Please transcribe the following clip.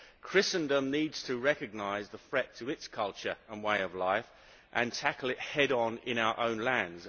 Christendom needs to recognise the threat to its culture and way of life and tackle it head on in our own lands.